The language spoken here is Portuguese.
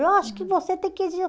Eu acho que você tem que exigir.